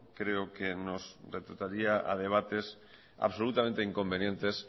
creo que nos retrotraería a debates absolutamente inconvenientes